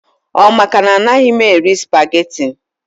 Ọ maka na anaghị m eri spageti